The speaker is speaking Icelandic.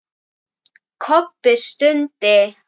Kobbi stundi.